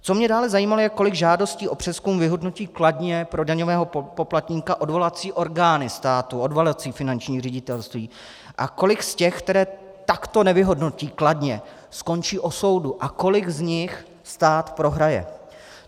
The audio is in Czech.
Co mě dále zajímalo, je, kolik žádostí o přezkum vyhodnotí kladně pro daňového poplatníka odvolací orgány státu, odvolací finanční ředitelství, a kolik z těch, které takto nevyhodnotí kladně, skončí u soudu a kolik z nich stát prohraje.